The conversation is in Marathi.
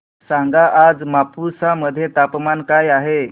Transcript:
सांगा आज मापुसा मध्ये तापमान काय आहे